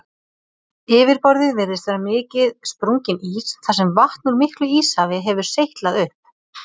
Yfirborðið virðist vera mikið sprunginn ís þar sem vatn úr miklu íshafi hefur seytlað upp.